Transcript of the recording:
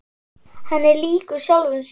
Hann er líkur sjálfum sér.